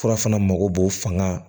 Fura fana mago b'o fanga